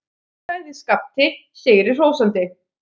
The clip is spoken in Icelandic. sagði Skapti sigri hrósandi.